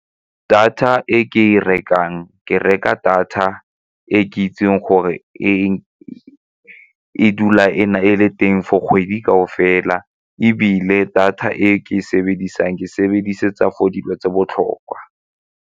Data e ke e rekang, ke reka data e ke itseng gore e dula e le teng for kgwedi kaofela ebile data e ke e sebedisang ke sebedisetsa for dilo tse botlhokwa.